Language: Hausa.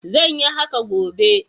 Zan yi haka gobe.